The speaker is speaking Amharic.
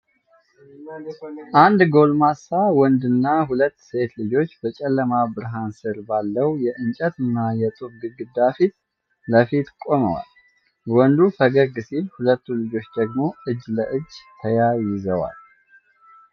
አንድ ጎልማሳ ወንድና ሁለት ሴት ልጆች በጨለማ ብርሃን ሥር ባለው የእንጨትና የጡብ ግድግዳ ፊት ለፊት ቆመዋል። ወንዱ ፈገግ ሲል፣ ሁለቱም ልጆች ደግሞ እጅ ለእጅ ተያይዘዋል።